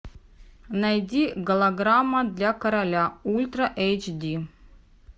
найди голограмма для короля ультра эйч ди